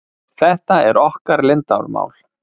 Þetta er okkar leyndarmál.